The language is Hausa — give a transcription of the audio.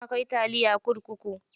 Suna kai taliya kurkuku.